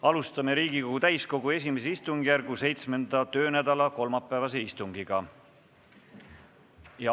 Alustame Riigikogu täiskogu I istungjärgu 7. töönädala kolmapäevast istungit.